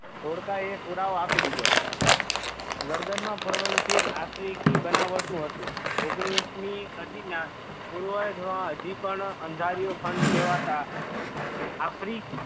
ધોળકા એ પુરાવો આપી દીધો ગર્દન માં પરોવાયેલું તીર આફ્રિકી બનાવટ નું હતું ઓગણીસમી સદી ના પૂર્વજો હજી પણ અંધાર્યો ખંડ કહેવાતા આફ્રિ